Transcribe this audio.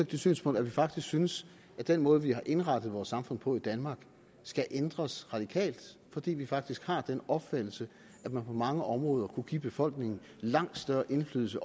det synspunkt at vi faktisk synes at den måde vi har indrettet vores samfund på i danmark skal ændres radikalt fordi vi faktisk har den opfattelse at man på mange områder kunne give befolkningen langt større indflydelse